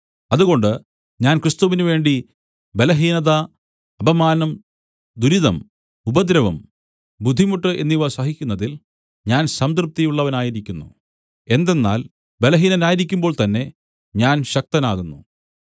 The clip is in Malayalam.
അതുകൊണ്ട് ഞാൻ ക്രിസ്തുവിനുവേണ്ടി ബലഹീനത അപമാനം ദുരിതം ഉപദ്രവം ബുദ്ധിമുട്ട് എന്നിവ സഹിക്കുന്നതിൽ ഞാൻ സംതൃപ്തിയുള്ളവനായിരിക്കുന്നു എന്തെന്നാൽ ബലഹീനനായിരിക്കുമ്പോൾ തന്നെ ഞാൻ ശക്തനാകുന്നു